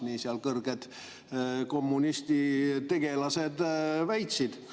Nii seal kõrged kommunistlikud tegelased väitsid.